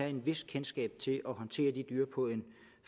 et vist kendskab til at håndtere de dyr på en